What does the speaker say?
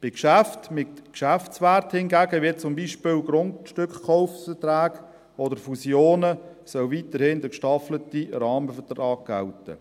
Bei Geschäften mit Geschäftswert hingegen, wie zum Beispiel Grundstückkaufverträge oder Fusionen, soll weiterhin der gestaffelte Rahmenvertrag gelten.